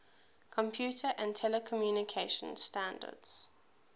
computer and telecommunication standards